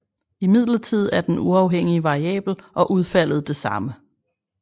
Imidlertid er den uafhængige variabel og udfaldet det samme